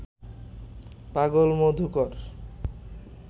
পাগল মধুকর